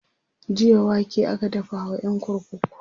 jiya wake aka dafa wa ƴan kurkuku